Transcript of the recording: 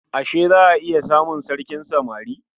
Ashe za a iya samun sarkin samari?